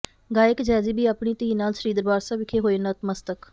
ਗਾਇਕ ਜੈਜ਼ੀ ਬੀ ਆਪਣੀ ਧੀ ਨਾਲ ਸ੍ਰੀ ਦਰਬਾਰ ਸਾਹਿਬ ਵਿਖੇ ਹੋਏ ਨਤਮਸਤਕ